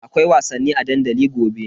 Akwai wasanni a dandali gobe.